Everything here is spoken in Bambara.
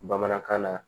Bamanankan na